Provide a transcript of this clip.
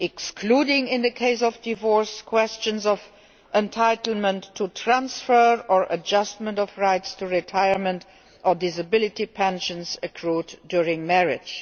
by excluding, in the case of divorce, questions of entitlement to transfer or adjustment of rights to retirement or disability pensions accrued during marriage.